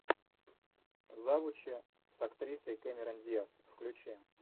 завучи с актрисой кэмерон диас включи